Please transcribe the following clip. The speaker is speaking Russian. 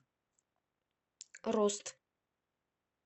рост